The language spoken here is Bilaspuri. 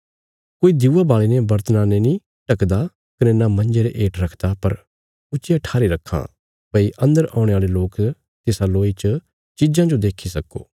कोई दिऊआ बाल़ीने बर्तणा ने नीं ढकदा कने न मंजे रे हेठ रखदा पर ऊच्चिया ठारी रखां भई अन्दर औणे औल़े लोक तिसा लोई च चिज़ां जो देक्खी सक्को